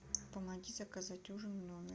помоги заказать ужин в номер